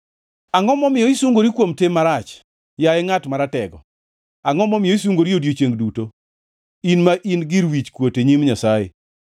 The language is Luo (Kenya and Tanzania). Angʼo momiyo isungori kuom tim marach, yaye ngʼat maratego? Angʼo momiyo isungori odiechiengʼ duto, in ma in gir wichkuot e nyim Nyasaye?